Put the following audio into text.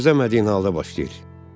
Gözləmədiyin halda başlayır.